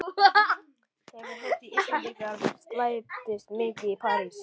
Hefur heyrt að Íslendingar slæpist mikið í París.